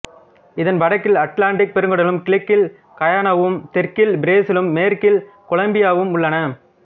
இதன் வடக்கில் அட்லான்டிக் பெருங்கடலும் கிழக்கில் கயானாவும் தெற்கில் பிரேசிலும் மேற்கில் கொலம்பியாவும் உள்ளன